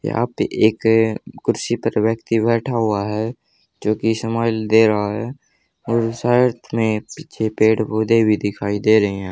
यहां पे एक कुर्सी पर व्यक्ति बैठा हुआ है जो की स्माइल दे रहा है और साइड में पीछे पेड़ पौधे भी दिखाई दे रहे हैं।